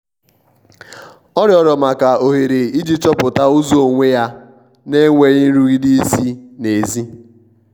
ọ rịorọ maka ohere iji chọpụta ụzọ onwe ya n'enweghi nrụgide si n'ezi